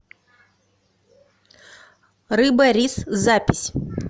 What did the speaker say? рыба рис запись